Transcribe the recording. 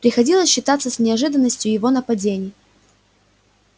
приходилось считаться и с неожиданностью его нападения